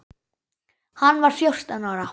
Hann var fjórtán ára.